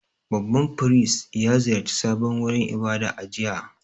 Babban firist ya ziyarci sabon wurin ibada a jiya.